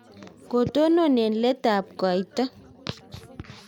kotonon eng' letutab koita